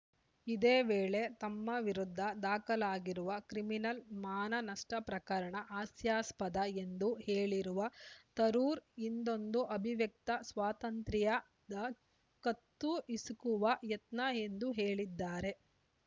ಇದೇ ವೇಳೆ ತಮ್ಮ ವಿರುದ್ಧ ದಾಖಲಾಗಿರುವ ಕ್ರಿಮಿನಲ್‌ ಮಾನನಷ್ಟಪ್ರಕರಣ ಹಾಸ್ಯಾಸ್ಪದ ಎಂದು ಹೇಳಿರುವ ತರೂರ್‌ ಇಂದೊಂದು ಅಭಿವ್ಯಕ್ತ ಸ್ವಾತಂತ್ರ್ಯದ ಕತ್ತುಹಿಸುಕುವ ಯತ್ನ ಎಂದು ಹೇಳಿದ್ದಾರೆ